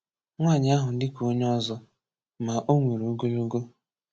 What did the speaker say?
Nwàànyị̀ ahụ̀ dị̀ kà onyè ọzọ̀, mà ọ̀ nwerè ogologò